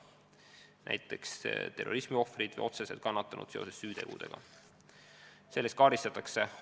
See õigus on näiteks terrorismiohvritel või mõne süüteo tõttu otseselt kannatanutel.